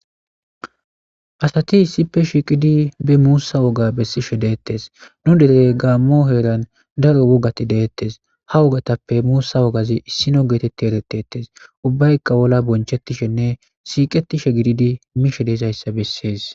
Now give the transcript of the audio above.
asati issippe shiiqidi be muussa woga bessishe deettes nu derey gaammo heeran daro wogati deettes ha wogatappe muussa wogazi issino geetetti eretetes ubbaykka wolla bonchettishenne siiqetishe gididi mishe deesayssa bessees